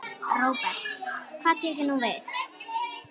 Róbert: Hvað tekur nú við?